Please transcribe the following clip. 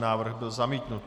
Návrh byl zamítnut.